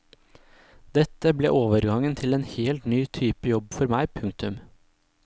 Dette ble overgangen til en helt ny type jobb for meg. punktum